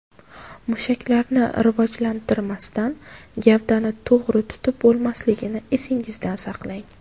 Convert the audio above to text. Mushaklarni rivojlantirmasdan gavdani to‘g‘ri tutib bo‘lmasligini esingizda saqlang.